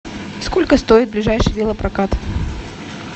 сколько стоит ближайший велопрокат